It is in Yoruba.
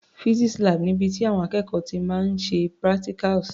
Physics lab ni ibi tí àwọn akẹ́kọ̀ọ́ ti máa ń ṣe practicals.